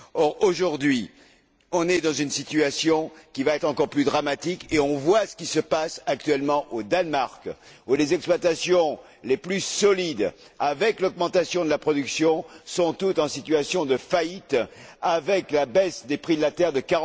Or, aujourd'hui, nous sommes dans une situation qui va être encore plus dramatique et nous voyons ce qui se passe actuellement au Danemark, où les exploitations les plus solides, avec l'augmentation de la production, sont toutes en situation de faillite, avec la baisse des prix de la terre de